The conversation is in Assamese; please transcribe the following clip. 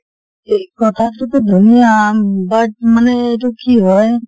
এই কথাটো টো ধুনীয়া but মানে এইটো কি হয়